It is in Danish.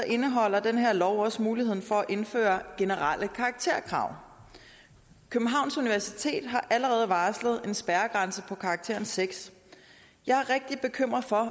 indeholder den her lov også muligheden for at indføre generelle karakterkrav københavns universitet har allerede varslet en spærregrænse på karakteren sjette jeg er rigtig bekymret for